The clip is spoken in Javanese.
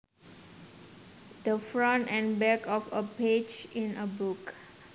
The front and back of a page in a book